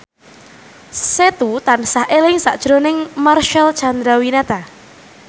Setu tansah eling sakjroning Marcel Chandrawinata